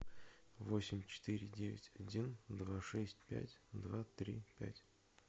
восемь четыре девять один два шесть пять два три пять